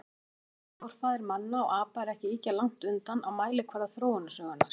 Hinn sameiginlegi forfaðir manna og apa er ekki ýkja langt undan á mælikvarða þróunarsögunnar.